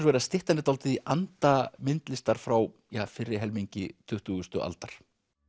er að styttan er dálítið í anda myndlistar frá fyrri helmingi tuttugustu aldar